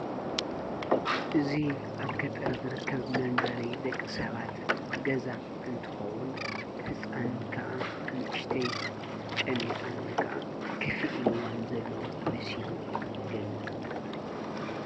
እዙይ ኣብ ከጠር ዝርከብ መንበሪ ደቂ ሰባት ገዛ እንትኸውን ሕፃን ከዓ ንእሽተይ ጨኒኣን ከዓ ክፊ ኢልዋን ዘሎ ምሲ ኢሉ ይገልጽ።